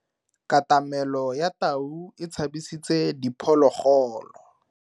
Katamelo ya tau e tshabisitse diphologolo.